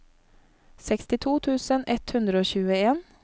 sekstito tusen ett hundre og tjueen